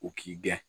U k'i gɛn